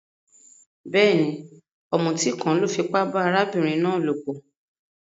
Béèni, òmùtí kan lo fipá ba arábìnrin náà lòpò